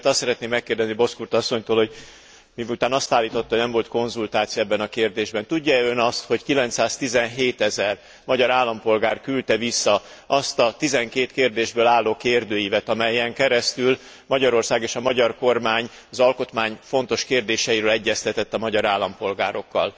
Éppen ezért azt szeretném megkérdezni Bozkurt asszonytól, hogy miután azt állította, hogy nem volt konzultáció ebben a kérdésben, tudja e Ön azt, hogy 917 ezer magyar állampolgár küldte vissza azt a tizenkét kérdésből álló kérdőívet, amelyen keresztül Magyarország és a magyar kormány az alkotmány fontos kérdéseiről egyeztetett a magyar állampolgárokkal?